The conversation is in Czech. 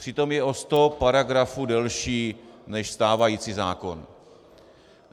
Přitom je o sto paragrafů delší než stávající zákon.